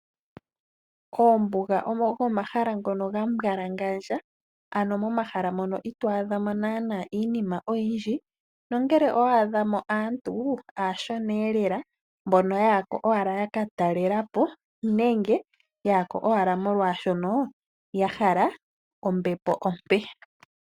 Koombuga ogo omahala ngono gambwalangandja ano momahala mono itwaadhamo nana iinima oyindji, nongele owaadhamo aantu aashona lela mbono yaya ko owala yaka talela po, nenge yaya ko owala molwaashono ya hala ombepo ompe.